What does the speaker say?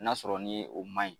N'a y'a sɔrɔ ni ye o man ɲi,